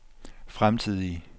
fremtidige